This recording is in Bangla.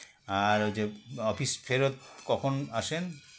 আর ওই যে office ফেরত কখন আসেন